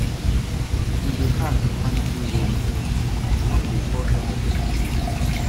E dey hard to find true role models; some dey fall short of expectations.